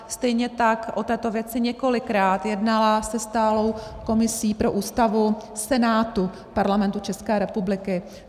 Stejně tak o této věci několikrát jednala se stálou komisí pro Ústavu Senátu Parlamentu České republiky.